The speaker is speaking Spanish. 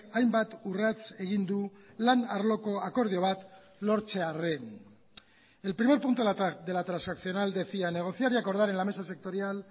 hainbat urrats egin du lan arloko akordio bat lortzearren el primer punto de la transaccional decía negociar y acordar en la mesa sectorial